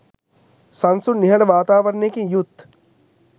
සන්සුන් නිහඬ වාතාවරණයකින් යුත්